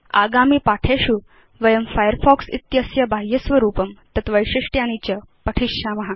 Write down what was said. आगामिपाठेषु वयं फायरफॉक्स इत्यस्य बाह्यस्वरूपं तत् वैशिष्ट्यानि च पठिष्याम